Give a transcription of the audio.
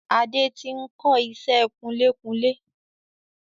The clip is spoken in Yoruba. Adé tí n kọ ìṣẹ́ kunlékunlé